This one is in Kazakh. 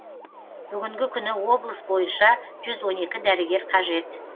бүгінгі күні облыс бойынша жүз он екі дәрігер қажет